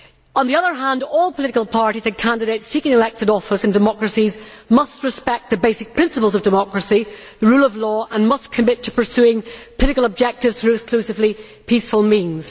On the other hand, all political parties and candidates seeking elected office in democracies must respect the basic principles of democracy and the rule of law, and must commit to pursuing political objectives through exclusively peaceful means.